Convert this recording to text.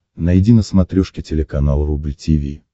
найди на смотрешке телеканал рубль ти ви